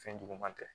Fɛn juguman tɛ